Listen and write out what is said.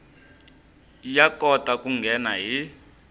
ya kota ku nghena hi